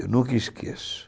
Eu nunca esqueço.